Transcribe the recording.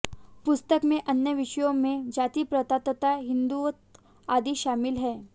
पुस्तक में अन्य विषयों में जाति प्रथा तथा हिन्दुत्व आदि शामिल हैं